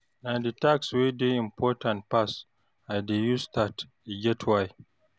Na di task wey dey importaant pass I dey use start, e get why.